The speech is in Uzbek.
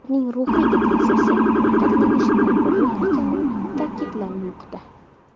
Ularning ruhiy depressiyasi ovqatlanish bilan bog‘liq ekanligi ta’kidlanmoqda.